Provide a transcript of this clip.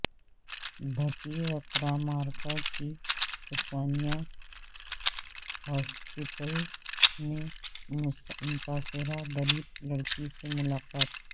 بھٹی وکرامارکا کی عثمانیہ ہاسپٹل میں متاثرہ دلت لڑکی سے ملاقات